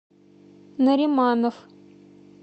нариманов